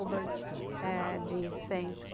Hubbard diz sempre.